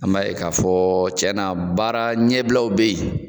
An ba ye ka fɔ cɛn na baara ɲɛbilaw be yen